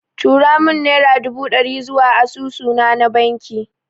Turo mun naira dubu ɗari zuwa asusu na na banki